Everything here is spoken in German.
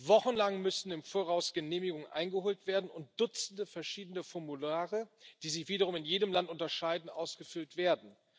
Wochenlang im Voraus müssen Genehmigungen eingeholt werden und Dutzende verschiedene Formulare, die sich wiederum in jedem Land unterscheiden, ausgefüllt werden.